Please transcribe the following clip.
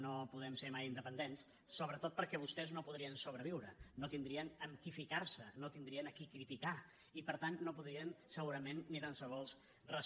no podem ser mai independents sobretot perquè vostès no podrien sobreviure no tindrien amb qui ficar se no tindrien a qui criticar i per tant no podrien segurament ni tan sols